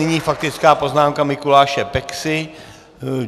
Nyní faktická poznámka Mikuláše Peksy.